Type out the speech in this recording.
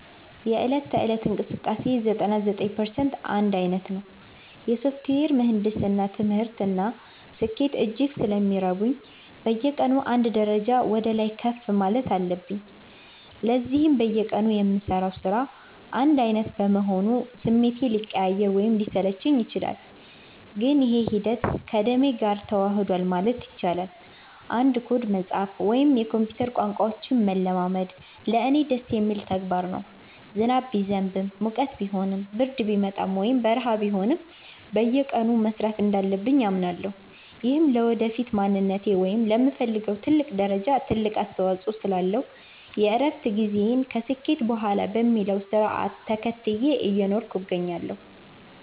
የዕለት ተዕለት እንቅስቃሴዬ 99% አንድ ዓይነት ነው። የሶፍትዌር ምህንድስና ትምህርት እና ስኬት እጅግ ስለሚረቡኝ፣ በየቀኑ አንድ ደረጃ ወደ ላይ ከፍ ማለት አለብኝ። ለዚህም በየቀኑ የምሠራው ሥራ አንድ ዓይነት በመሆኑ ስሜቴ ሊቀያየር ወይም ሊሰለቸኝ ይችላል፤ ግን ይህ ሂደት ከደሜ ጋር ተዋህዷል ማለት ይቻላል። አንድ ኮድ መጻፍ ወይም የኮምፒውተር ቋንቋዎችን መለማመድ ለእኔ ደስ የሚል ተግባር ነው። ዝናብ ቢዘንብ፣ ሙቀት ቢሆን፣ ብርድ ቢመጣ ወይም በረሃ ቢሆንም፣ በየቀኑ መሥራት እንዳለብኝ አምናለሁ። ይህም ለወደፊት ማንነቴ ወይም ለምፈልገው ትልቅ ደረጃ ትልቅ አስተዋጽኦ ስላለው፣ የእረፍት ጊዜን ከስኬት በኋላ በሚለው ሥርዓት ተከትዬ እየኖርኩ እገኛለሁ።